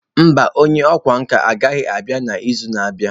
Mba, onye ọkwá nkà anaghị abịa n'izu na-abịa.